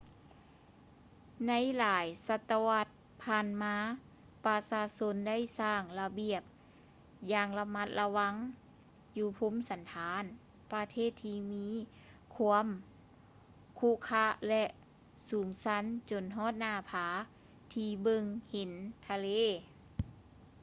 ໃນຫຼາຍສະຕະວັດຜ່ານມາ ປະຊາຊົນໄດ້ສ້າງລະບຽງຢ່າງລະມັດລະວັງຢູ່ພູມສັນຖານປະເທດທີ່ມີຄວາມຂຸຂະ ແລະ ສູງຊັນຈົນຮອດໜ້າຜາທີ່ເບິ່ງເຫັນທະເລ